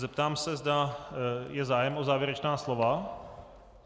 Zeptám se, zda je zájem o závěrečná slova.